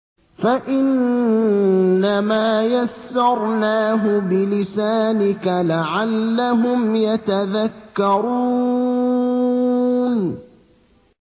فَإِنَّمَا يَسَّرْنَاهُ بِلِسَانِكَ لَعَلَّهُمْ يَتَذَكَّرُونَ